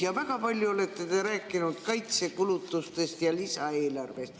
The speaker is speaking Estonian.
Väga palju olete te rääkinud kaitsekulutustest ja lisaeelarvest.